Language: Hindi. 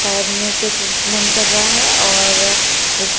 सायद मुंह पे टिरीटमेन कर रहा है और एक --